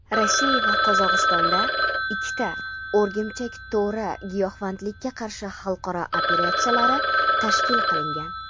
Rossiya va Qozog‘istonda ikkita "O‘rgimchak to‘ri" giyohvandlikka qarshi xalqaro operatsiyalari tashkil qilingan.